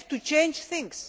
We have to change things.